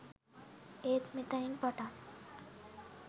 ඒත් මෙතැන් පටන්